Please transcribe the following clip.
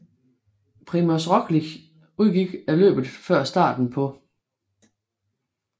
Primož Roglič udgik af løbet før starten på